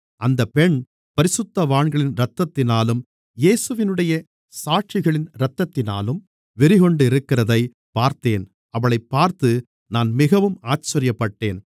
அந்தப் பெண் பரிசுத்தவான்களின் இரத்தத்தினாலும் இயேசுவினுடைய சாட்சிகளின் இரத்தத்தினாலும் வெறிகொண்டிருக்கிறதைப் பார்த்தேன் அவளைப் பார்த்து நான் மிகவும் ஆச்சரியப்பட்டேன்